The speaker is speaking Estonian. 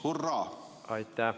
Hurraa!